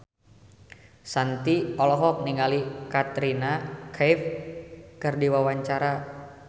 Shanti olohok ningali Katrina Kaif keur diwawancara